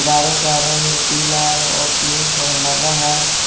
का रंग पीला और पिक और हरा है।